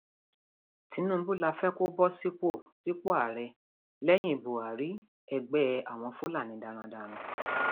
tinubu la fẹ kó bọ sípò sípò ààrẹ lẹyìn buhari ẹgbẹ àwọn fúlàní darandaran